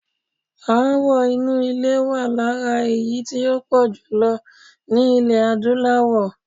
Aáwọ̀ inú ilé wà lára èyí tí ó pọ̀ jùlọ ní ilẹ̀ Adúláwọ̀.